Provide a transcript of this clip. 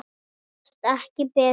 Gerast ekki betri.